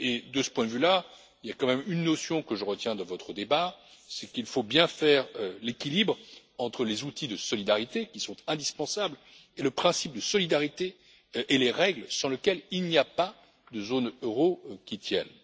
De ce point de vue, il y a une notion que je retiens de votre débat, c'est qu'il faut bien faire l'équilibre entre les outils de solidarité, qui sont indispensables, et le principe de solidarité ainsi que les règles sans lesquelles il n'y a pas de zone euro qui tienne.